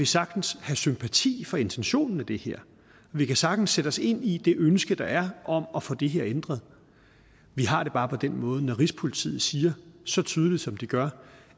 sagtens have sympati for intentionen med det her vi kan sagtens sætte os ind i det ønske der er om at få det her ændret vi har det bare på den måde at når rigspolitiet siger så tydeligt som de gør